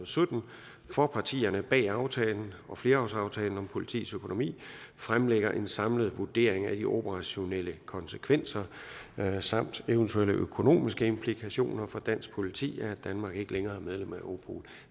sytten for partierne bag aftalen og flerårsaftalen om politiets økonomi fremlægger en samlet vurdering af de operationelle konsekvenser samt evt økonomiske implikationer for dansk politi af at danmark ikke længere medlem af europol